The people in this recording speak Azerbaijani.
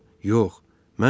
Yox, mən Qaragözəm.